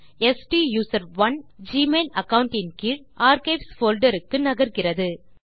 ஸ்டூசரோன் Gmail account இன் கீழ் archives folder க்கு நகர்கிறது